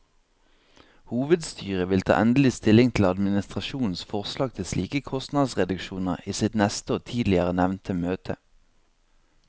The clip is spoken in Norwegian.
Hovedstyret vil ta endelig stilling til administrasjonens forslag til slike kostnadsreduksjoner i sitt neste og tidligere nevnte møte.